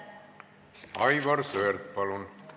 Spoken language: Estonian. Aivar Sõerd, palun!